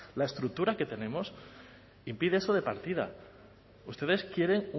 la estructura que tenemos impide eso de partida ustedes quieren